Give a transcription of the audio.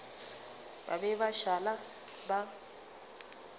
ba be ba šala ba